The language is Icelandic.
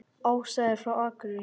Ása er frá Akureyri.